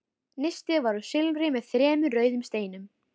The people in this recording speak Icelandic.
Nistið var úr silfri með þremur rauðum steinum.